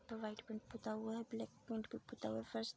white paint पुता हुआ है ब्लैक पेंट भी पुता हुआ है फर्श --